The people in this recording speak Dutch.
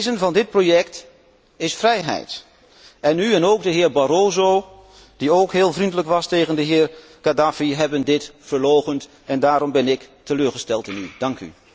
Het wezen van dit project is vrijheid en u en de heer Barroso, die ook heel vriendelijk was tegen de heer Kadhaffi, hebben dit verloochend en daarom ben ik teleurgesteld in u.